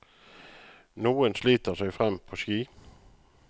Noen sliter seg frem på ski.